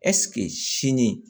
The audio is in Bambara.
Ɛseke sini